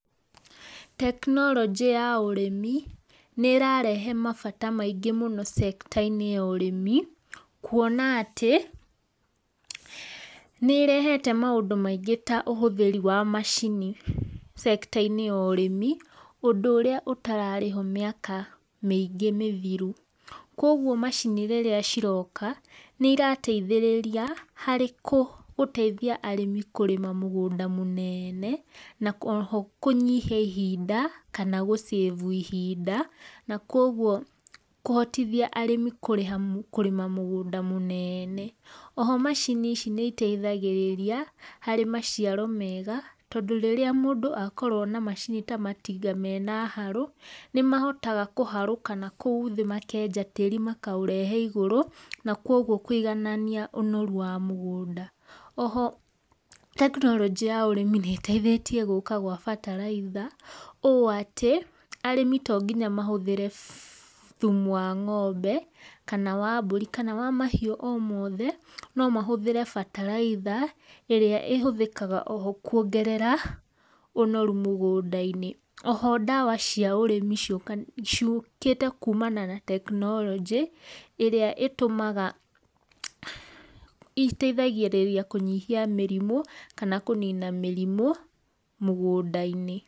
Tekĩnoronjĩ ya ũrĩmi nĩirarehe mabata maĩngĩ sector inĩ ya ũrĩmĩ kũona atĩ, nĩĩrehete maũndũ maĩngĩ ta ũhũthĩri wa macini [sector] inĩ ya ũrĩmi ũndũ ũrĩa ũtararĩho mĩaka mĩingĩ mĩthiru kũogwo macini rĩrĩa ciroka, nĩirateithĩrĩrĩa harĩ kũ teithia arĩmi kũrĩma mũgũnda mũnene na oho kũnyihia ihinda kana kũ[save] ihinda, na kũogwo kũhotĩthĩa arĩmi kũrĩha kũrĩma mũgũnda mũnene. Oho macini ici nĩiteithagararia harĩ macĩaro mega tũndũ rĩrĩa mũndũ akorwo na macini ta matinga mena harũ, nĩmahotaga kũharũka nakoũ thĩ makenja tarĩ makaũrehe igũrũ na kũogwo kũiganania ũnoru wa mũgũnda. Oho tekinoronjĩ ya ũrĩmi nĩ ĩteithetie gũka kwa batalaitha o atĩ arĩmi to ngĩnya arĩmi mahũthĩre thũmũ wa ngombe kana wa mbũrĩ kana wa mahĩũ o moothe, nũ mahũthĩre batalaĩtha ĩrĩa ĩhũthĩkaga oho kũogerera ũnoru mũgũnda inĩ. Oho dawa cia ũrĩmi ciũkĩte kũmana na tekinoronjĩ ĩrĩa ĩtũmaga iteithagĩrĩrĩa kũnyihia mĩrimũ kana kũnĩna mĩrimũ mũgũnda inĩ.